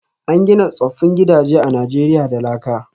An gina tsoffin gidaje a Najeriya da laka